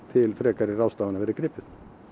til frekari ráðstafana verði gripið